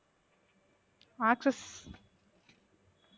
access